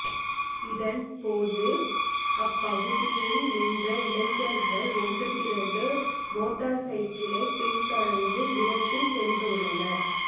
இதன் போது அப்பகுதியில் நின்ற இளைஞர்கள் ஒன்று திரண்டு மோட்டார் சைக்கிளை பின் தொடர்ந்து விரட்டி சென்றுள்ளனர்